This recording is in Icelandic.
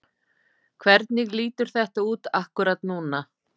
Hvernig lítur þetta út akkúrat núna?